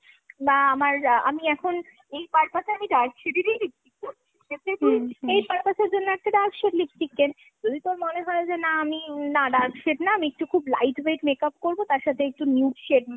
বা আমার আ আমি এখন এই purpose এ আমি dark shade এর ই lipstick পরবো। তুই এই purpose এর জন্য একটা dark shade lipstick কেন। যদি তোর মনে হয় যে না আমি উম না আমি dark shade না আমি খুব light weight makeup করবো তার সাথে একটু nude shade